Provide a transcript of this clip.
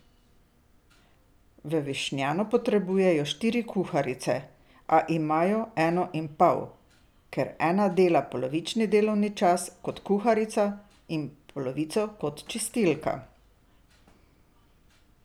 V Višnjanu potrebujejo štiri kuharice, a imajo eno in pol, ker ena dela polovični delovni čas kot kuharica in polovico kot čistilka.